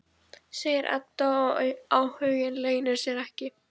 segir Edda og áhuginn leynir sér ekki.